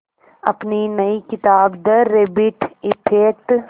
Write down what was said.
अपनी नई किताब द रैबिट इफ़ेक्ट